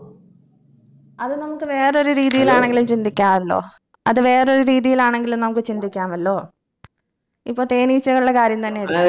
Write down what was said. അത് നമക്ക് വേറൊരു രീതിയിലാണെങ്കിലും ചിന്തിക്കാറുണ്ടോ അത് വേറൊരു രീതിയിലാണെങ്കിലും നമുക്ക് ചിന്തിക്കാമല്ലോ ഇപ്പൊ തേനീച്ചകളുടെ കാര്യം തന്നെ